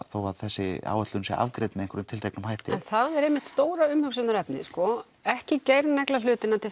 þó að þessi áætlun sé afgreidd með einhverjum tilteknum hætti en það er einmitt stóra umhugsunarefnið sko ekki negla hlutina til